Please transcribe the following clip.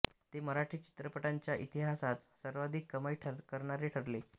ते मराठी चित्रपटांच्या इतिहासात सर्वाधिक कमाई करणारे ठरले